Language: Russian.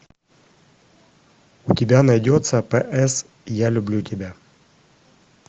у тебя найдется пс я люблю тебя